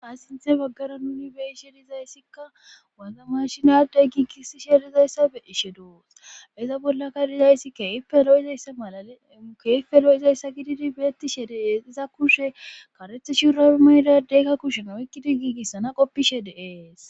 aasinthe baggara nuni beishedizayssikka waza mashinadey giigisi sherizayssa beishe doos iza bollaka dizayssi keielizaya malale ukeife lo7izayssa gididi beetti shereesiza kushe karethe shuurai maydadeykka kushena wykkidi giigissana qoppishe deees